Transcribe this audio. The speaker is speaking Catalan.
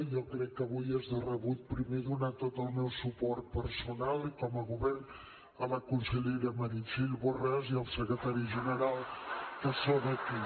jo crec que avui és de rebut primer donar tot el meu suport personal i com a govern a la consellera meritxell borràs i al secretari general que són aquí